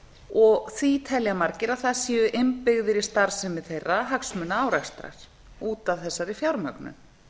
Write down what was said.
og því telja margir að það séu innbyggðir í starfsemi þeirra hagsmunaárekstrar út af þessari fjármögnun